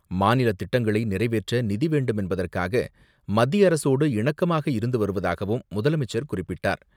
மாநில திட்டங்களை நிறைவேற்ற நிதி வேண்டும் என்பதற்காக மத்திய அரசோடு இணக்கமாக இருந்து வருவதாகவும் முதலமைச்சர் குறிப்பிட்டார்.